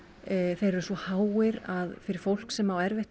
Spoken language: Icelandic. þeir eru svo háir fyrir fólk sem á erfitt